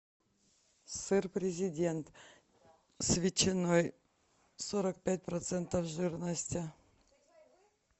сыр президент с ветчиной сорок пять процентов жирности